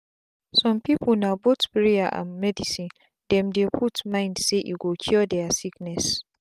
some people na both prayers and medicine them dey put mind saye go cure their sickness.